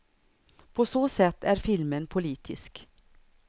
På så sätt är filmen politisk.